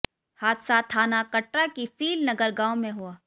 हादसा थाना कटरा की फील नगर गांव में हुआ